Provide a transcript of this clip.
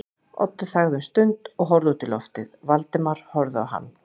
Oddur þagði um stund og horfði út í lofið, Valdimar horfði á hann.